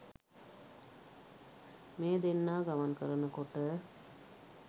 මේ දෙන්නා ගමන් කරන කොට